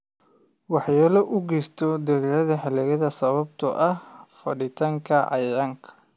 Waxyeello u geysato dalagyada xilliyeedka sababtoo ah fiditaanka cayayaanka.